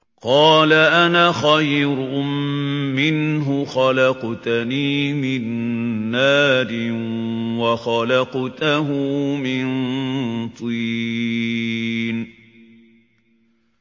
قَالَ أَنَا خَيْرٌ مِّنْهُ ۖ خَلَقْتَنِي مِن نَّارٍ وَخَلَقْتَهُ مِن طِينٍ